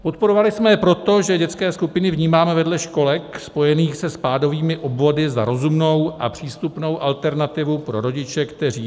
Podporovali jsme je proto, že dětské skupiny vnímáme vedle školek spojených se spádovými obvody za rozumnou a přístupnou alternativu pro rodiče, kteří